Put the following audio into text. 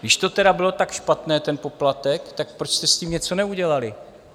Když to tedy bylo tak špatné, ten poplatek, tak proč jste s tím něco neudělali?